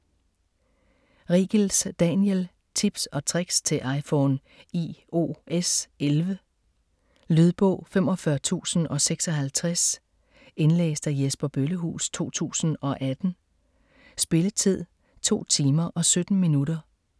Riegels, Daniel: Tips & tricks til iPhone iOS11 Lydbog 45056 Indlæst af Jesper Bøllehuus, 2018. Spilletid: 2 timer, 17 minutter.